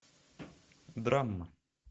драма